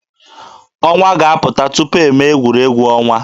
Ọnwa ga-apụta tupu eme egwuregwu ọnwa.